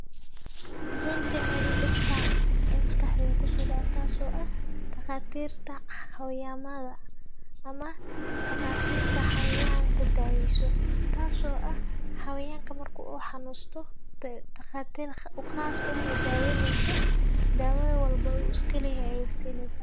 Veterinary doctor aya maskaxdheyda ku soo dhaceysa taasoo ah takhaatiirta xawayamadha ama takhaatiirta xayawanta daaweyso, taasoo ah xawayanka mar ku xanunsadho takhaatiir u khaas ah oo daawo neyso daawo walbo u uskaliyo ay aysanaysaan.